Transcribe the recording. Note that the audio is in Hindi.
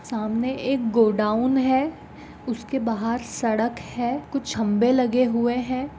सामने एक गोडाउन है उसके बाहर सड़क है कुछ खंबे लगे हुए है।